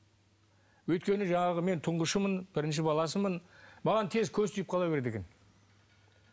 өйткені жаңағы мен тұңғышымын бірінші баласымын маған тез көз тиіп қала береді екен